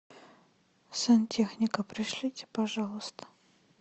сантехника пришлите пожалуйста